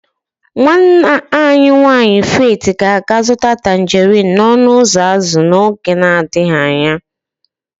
Nwanna nwanyị Faith ga-aga azụta tangerin n'ọnụ ụzọ azụ n'oge adịghị anya.